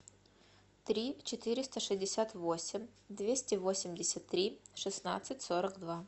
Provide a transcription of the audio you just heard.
три четыреста шестьдесят восемь двести восемьдесят три шестнадцать сорок два